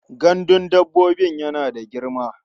Gandun dabbobin yana da girma.